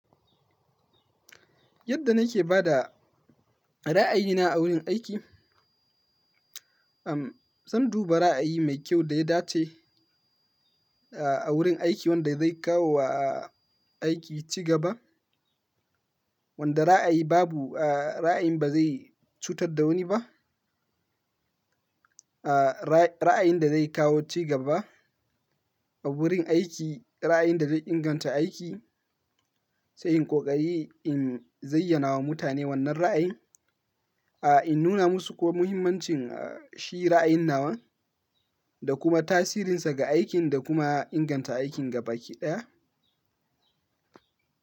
Yadda na ke ba da ra'ayina a wurin aiki, umm, zan duba ra'ayi mai kyau da ya dace, ah, a wurin aiki wanda zai kawo, ah, aiki cigaba. Wanda ra'ayi babu, ah, ra'ayin ba zai cutar da wani ba. Ah, rai-ra'ayin da zai kawo cigaba a wurin aiki, ra'ayin da zai inganta aiki, sai in ƙoƙari in zayyana wa mutane wannan ra'ayin. Ah, in nuna musu kuma muhimmancin, ah, shi ra'ayin nawa da kuma tasirinsa ga aikin da kuma inganta aikin gaba ɗaya.